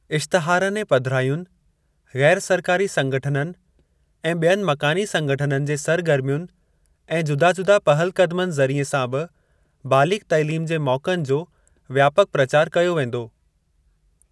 इश्तहारनि ऐं पधिरायुनि, गै़र सरकारी संगठननि ऐं बियनि मकानी संगठननि जे सरगर्मियुनि ऐं जुदा जुदा पहल क़दमनि ज़रिए सां बि बालिग़ तैलीम जे मौक़नि जो व्यापक प्रचार कयो वेंदो।